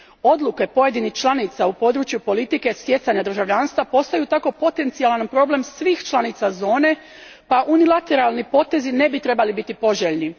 Odluke pojedinih članica u području politike stjecanja državljanstva postaju tako potencijalan problem svih članica zone pa unilateralni potezi ne bi trebali biti poželjni.